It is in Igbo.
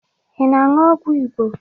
Ị na-aṅụ ọgwụ Igbo